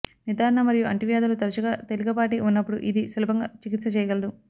నిర్ధారణ మరియు అంటువ్యాధులు తరచుగా తేలికపాటి ఉన్నప్పుడు ఇది సులభంగా చికిత్స చేయగలదు